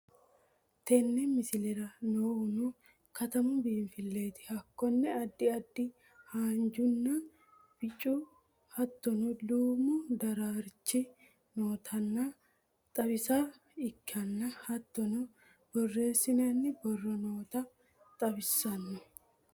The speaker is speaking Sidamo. Tenne mislerra noohuno katamuu biinfileti hakkono addi addi hanjunaa biichuu hattono duumu darrarchi nootanna xawissaha ekkana hattono boressinoni booro nootano xawisanno.